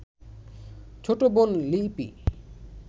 ছোট বোন লিপি